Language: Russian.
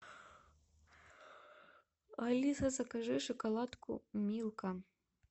алиса закажи шоколадку милка